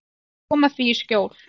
Og koma því í skjól.